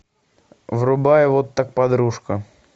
врубай вот так подружка